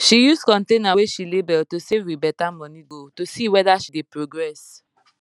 she use container wey she label to save with better money goal to see whether she dey progress